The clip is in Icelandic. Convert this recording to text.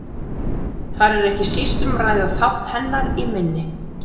Þar er ekki síst um að ræða þátt hennar í minni.